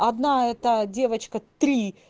одна эта девочка три